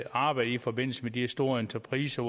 arbejde i forbindelse med de store entrepriser